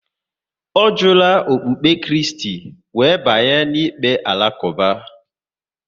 Ọ jula okpukpe Kristi, wéré banye n'ikpe Alakuba